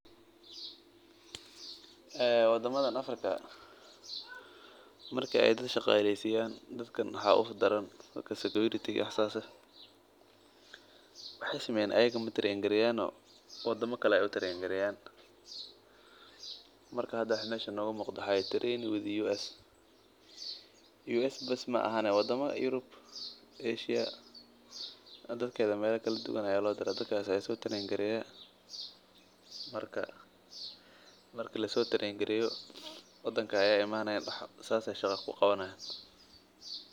Wadamada africa marki aay dad ahaqaleysiyan wadama kale ayaa laga tababara wadamada kale ayaa meela kala duban loo diraa kadib wadanka ayeey imanayaan saas ayeey shaqa ku qabtaana.